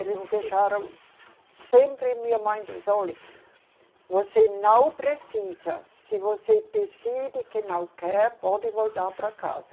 Eles deixaram sempre, minha mãe diz, olhe, você não precisa, se você decide que não quer, pode voltar para casa.